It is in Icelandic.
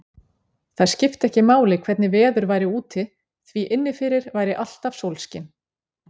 Það skipti ekki máli hvernig veður væri úti, því inni fyrir væri alltaf sólskin.